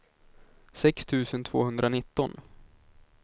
sex tusen tvåhundranitton